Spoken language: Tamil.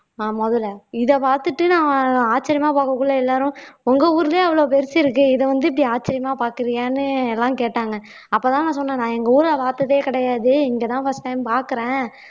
ஆஹ் முதலை இத பார்த்துட்டு நான் ஆச்சரியமா பார்க்கக்குள்ள எல்லாரும் உங்க ஊர்லயே அவ்வளவு பெருசு இருக்கு இத வந்து இப்படி ஆச்சரியமா பாக்குறியான்னு எல்லாம் கேட்டாங்க அப்பதான் நான் சொன்னேன் நான் எங்க ஊரை பார்த்ததே கிடையாது இங்கதான் first time பார்க்கிறேன்